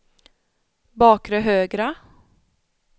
bakre högra